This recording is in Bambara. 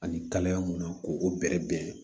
Ani kalaya mun na k'o bɛrɛ bɛn